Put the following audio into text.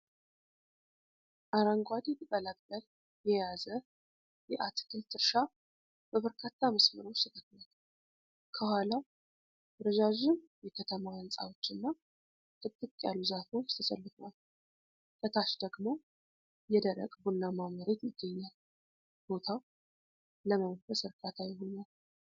አረንጓዴ ቅጠላ ቅጠል የያዘ የአትክልት እርሻ በበርካታ መስመሮች ተተክሏል። ከኋላው ረዣዥም የከተማ ሕንፃዎችና ጥቅጥቅ ያሉ ዛፎች ተሰልፈዋል። ከታች ደግሞ የደረቀ ቡናማ መሬት ይገኛል። ቦታው ለምንፈስ እርካታ ይሆናል ።